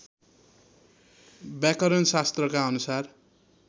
व्याकरण शास्त्रका अनुसार